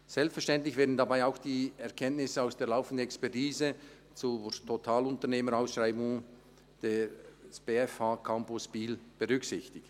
Selbstverständlich werden dabei auch die Erkenntnisse aus der laufenden Expertise zur Totalunternehmerausschreibung für den Campus BFH Biel berücksichtigt.